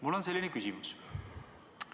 Mul on selline küsimus.